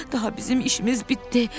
Daha bizim işimiz bitdi.